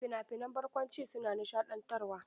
Fina-finan barkwanci su na nishaɗantarwa.